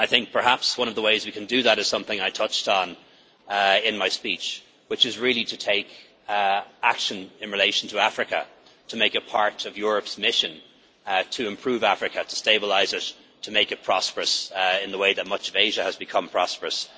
Perhaps one of the ways we can do that is something I touched on in my speech, which is really to take action in relation to Africa, to make a part of Europe's mission to improve Africa, to stabilise it, and to make it prosperous in the way that much of Asia has become prosperous.